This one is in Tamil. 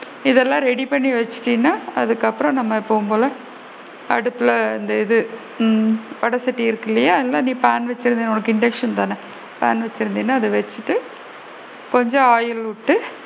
இதெல்லாம் ready பண்ணி வச்சுட்டீனா அதுக்கு அப்பறம் நாம எப்பவும் போல அடுப்புல இந்த இது ம் வடசட்டி இருக்குது இல்லையா அது இல்லைனா நீ பாண் வச்சு இருந்தா okay induction தான பாண் வச்சு இருந்தீனா அது வச்சிட்டு கொஞ்சம் ஆயில் விட்டு,